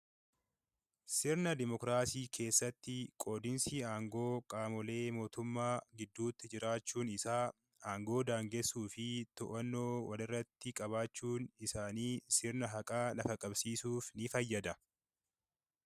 Sirna Dimookiraasii keessatti qoodiinsi aangoo qaamolee mootummaa gidduutti jiraachuun isaa, aangoo daangessuu fi to'annoo walirratti qabaachuun isaanii sirna haqa qabsiisuuf ni fayyada.